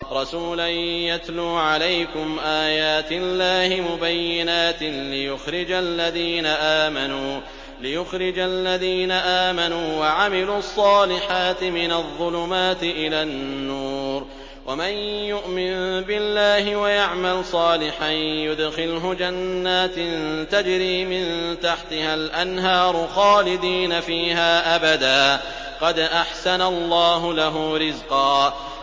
رَّسُولًا يَتْلُو عَلَيْكُمْ آيَاتِ اللَّهِ مُبَيِّنَاتٍ لِّيُخْرِجَ الَّذِينَ آمَنُوا وَعَمِلُوا الصَّالِحَاتِ مِنَ الظُّلُمَاتِ إِلَى النُّورِ ۚ وَمَن يُؤْمِن بِاللَّهِ وَيَعْمَلْ صَالِحًا يُدْخِلْهُ جَنَّاتٍ تَجْرِي مِن تَحْتِهَا الْأَنْهَارُ خَالِدِينَ فِيهَا أَبَدًا ۖ قَدْ أَحْسَنَ اللَّهُ لَهُ رِزْقًا